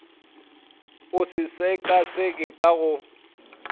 o se sekaseke ka go